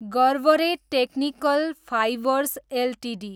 Garware technical fibres Ltd